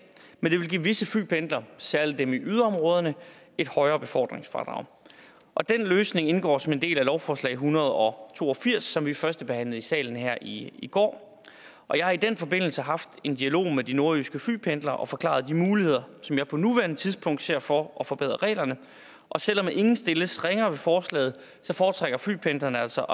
men det vil give visse flypendlere særlig dem i yderområderne et højere befordringsfradrag og den løsning indgår som en del af lovforslag en hundrede og to og firs som vi førstebehandlede i salen her i i går jeg har i den forbindelse haft en dialog med de nordjyske flypendlere og forklaret de muligheder som jeg på nuværende tidspunkt ser for at forbedre reglerne og selv om ingen stilles ringere ved forslaget foretrækker flypendlerne altså